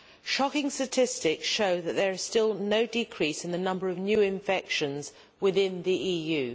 Shocking statistics show that there is still no decrease in the number of new infections within the EU.